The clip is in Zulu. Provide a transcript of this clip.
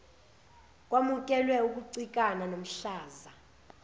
kwamukelwe ukucikana komhlaza